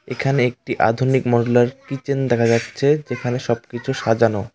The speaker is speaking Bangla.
এখানে একটি আধুনিক মরুলার কিচেন দেখা যাচ্ছে যেখানে সবকিছু সাজানো।